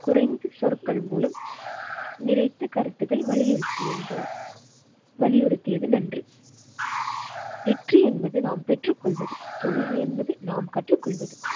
குறைந்து சொற்கள் மூலம் நினைத்து கருத்துகள் வலியுறுத்தி என்ற. வலியுறுத்தியது நன்று. வெற்றி என்பது நாம் பெற்றுக் கொள்வது தோல்வி என்பது நாம் கற்றுக்கொள்வது.